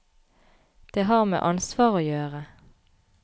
Det har med ansvar å gjøre.